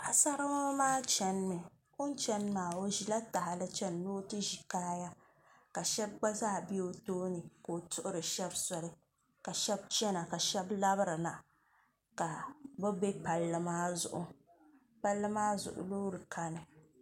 paɣisaribila maa chanimi o chani maa o ʒila tahili chani ni o ʒi kaaya ka shɛba gba zaa be o tooni ka o tuhiri shɛba soli ka shɛba chana ka shɛba labirina ka bɛ be palli maa zuɣu palli maa zuɣu loori kani